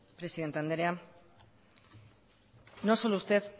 presidente andrea no solo usted